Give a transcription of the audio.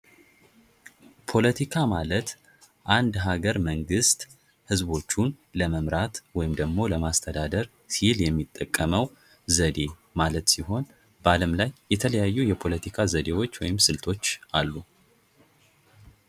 ፖለቲካ ማለት አንድ ሀገር መንግስት ህዝቦችን ለመምራት ወይም ደግሞ ለማስተዳደር የሚጠቀመው ዘዴ ማለት ሲሆን በአለም ላይ የተለያዩ የፖለቲካ ዘዴዎች ወይም ስልቶች አሉ።